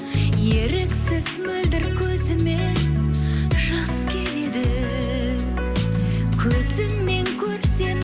еріксіз мөлдір көзіме жас келеді көзіңмен көрсем